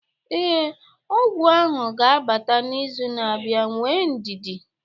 Ee, ọgwụ ahụ ga-abata n'izu na-abịa, nwee ndidi